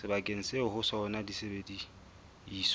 sebakeng seo ho sona disebediswa